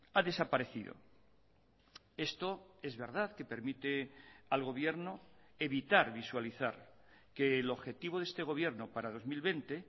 ha desaparecido esto es verdad que permite al gobierno evitar visualizar que el objetivo de este gobierno para dos mil veinte